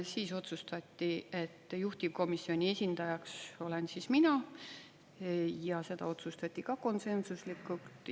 Siis otsustati, et juhtivkomisjoni esindajaks olen mina, seda otsustati konsensuslikult.